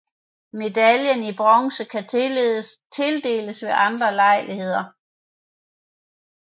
Medaljen i Bronze kan tildeles ved andre lejligheder